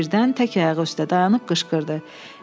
O birdən tək ayağı üstə dayanıb qışqırdı.